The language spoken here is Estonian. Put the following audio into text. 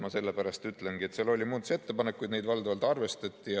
Ma sellepärast ütlengi, et seal oli muudatusettepanekuid, mida valdavalt arvestati.